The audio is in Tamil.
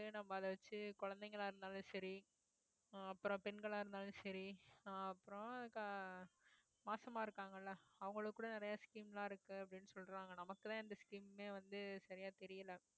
நம்ம அதை வச்சு குழந்தைங்களா இருந்தாலும் சரி ஆஹ் அப்புறம் பெண்களா இருந்தாலும் சரி ஆஹ் அப்புறம் இந்த மாசமா இருக்காங்கல்ல அவங்களுக்கு கூட நிறைய scheme எல்லாம் இருக்கு அப்படின்னு சொல்றாங்க நமக்குதான் எந்த scheme மே வந்து சரியா தெரியலே